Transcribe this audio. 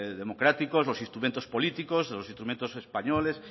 democráticos los instrumentos políticos los instrumentos españoles